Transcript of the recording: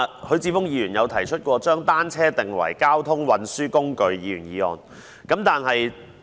許智峯議員曾提出將單車定為交通運輸工具的議員議案。